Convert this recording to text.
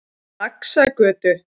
Laxagötu